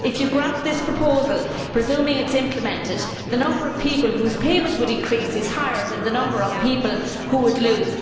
If you grasp this proposal presuming that it is implemented the number of people whose payment would increase is higher than the number of people who would lose.